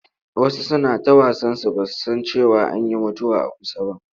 Wasu suna ta wasansu ba su san cewa an yi mutuwa a kusa ba.